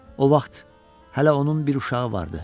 O vaxt hələ onun bir uşağı vardı.